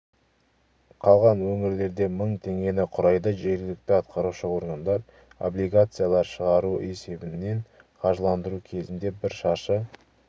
қалған өңірлерде мың теңгені құрайды жергілікті атқарушы органдар облигациялар шығару есебінен қаржыландыру кезінде бір шаршы